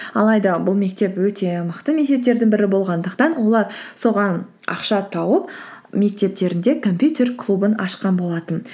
алайда бұл мектеп өте мықты мектептердің бірі болғандықтан олар соған ақша тауып мектептерінде компьютер клубын ашқан болатын